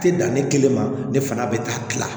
Tɛ dan ne kelen ma ne fana bɛ ka tila